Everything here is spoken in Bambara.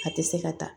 A tɛ se ka taa